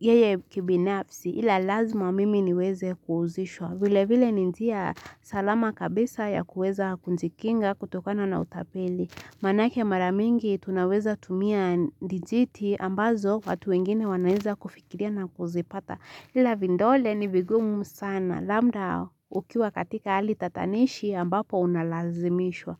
yeye kibinafsi ila lazima mimi niweze kuuzishwa. Vile vile ni njia salama kabisa ya kuweza kujikinga kutokana na utapeli. Maanake mara mingi tunaweza tumia dijiti ambazo watu wengine wanaweza kufikiria na kuzipata. Ila vidole ni vigumu sana labda ukiwa katika ali tatanishi ambapo unalazimishwa.